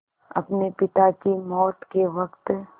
अपने पिता की मौत के वक़्त